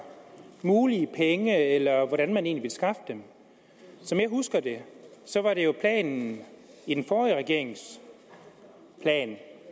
mulige penge eller hvordan man egentlig vil skaffe dem som jeg husker det var det jo planen i den forrige regerings plan